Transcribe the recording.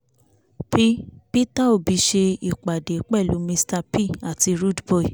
p- peter obi ṣe ìpàdé pẹ̀lú mr p àti rudeboy